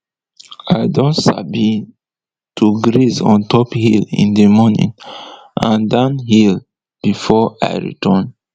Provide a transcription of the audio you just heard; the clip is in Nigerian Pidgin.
i don sabi to graze on top hill in d morning and down hill before i return